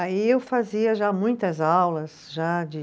Aí eu fazia já muitas aulas, já de